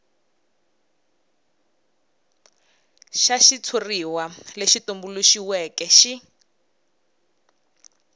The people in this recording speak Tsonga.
xa xitshuri lexi tumbuluxiweke xi